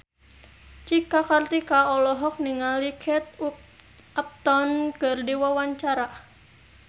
Cika Kartika olohok ningali Kate Upton keur diwawancara